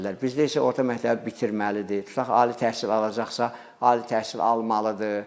Bizdə isə orta məktəbi bitirməlidir, tutaq ali təhsil alacaqsa, ali təhsil almalıdır.